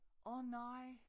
Åh nej